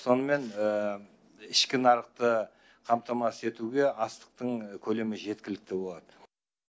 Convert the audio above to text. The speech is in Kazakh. сонымен ішкі нарықты қамтамасыз етуге астықтың көлемі жеткілікті болады